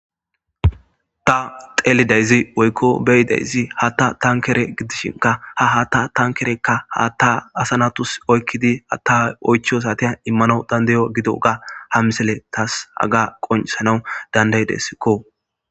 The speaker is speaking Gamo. Ta xeelidayzi woykko beyideyzi hatta tankere gidishinka ha hatta tankerekka haatta asanatus oykkidi hatta oychos atia immano dandayo gido ga ha misile taas haga qonsanawu danday dessikko